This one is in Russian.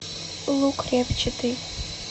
лук репчатый